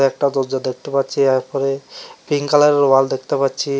একটা দরজা দেখতে পাচ্ছি এরপরে পিঙ্ক কালারের ওয়াল দেখতে পাচ্ছি।